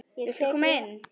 Viltu koma inn?